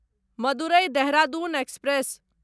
Madurai Dehradun express